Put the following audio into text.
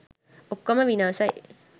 ඔක්කොම විනාසයි.